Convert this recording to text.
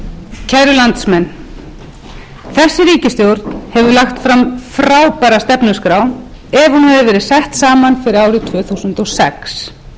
hefði verið sett saman fyrir árið tvö þúsund og sex stjórnarsáttmálinn hefði án efa komið þjóðinni að verulegu gagni í góðærinu